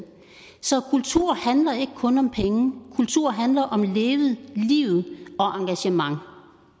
så kultur handler ikke kun om penge kultur handler om levet liv og engagement